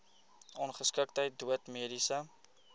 ongeskiktheid dood mediese